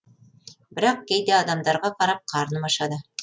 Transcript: бірақ кейде адамдарға қарап қарным ашады